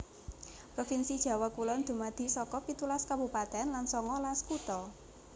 Provinsi Jawa Kulon dumadi saka pitulas kabupatèn lan songolas kutha